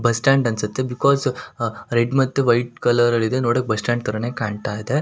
Bus stand ಅನ್ಸುತ್ತೆ. Because red ಮತ್ತೆ white colour ಇದೆ ನೋಡೋಕ್ ಬಸ್ ಸ್ಟಾಂಡ್ ತರಾನೇ ಕಾಣ್ತಾ ಇದೆ.